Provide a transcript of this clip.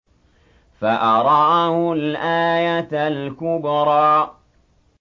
فَأَرَاهُ الْآيَةَ الْكُبْرَىٰ